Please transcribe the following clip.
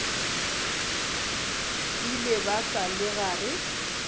ile ba sa le gare